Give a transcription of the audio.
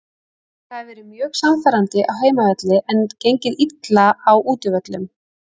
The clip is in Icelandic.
Þeir hafa verið mjög sannfærandi á heimavelli en gengið illa á útivöllum.